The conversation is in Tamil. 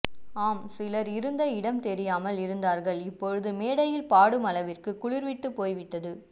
ஆம் சிலர் இருந்த இடம் தெரியாமல் இருந்தார்கள் இப்போது மேடையில் பாடுமளவிற்கு குளிர்விட்டுப் போய்விட்டது